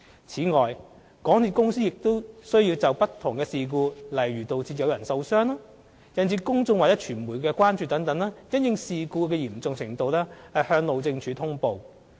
此外，港鐵公司亦須就不同事故，例如導致有人受傷、引致公眾或傳媒關注等，因應事故嚴重程度向路政署通報。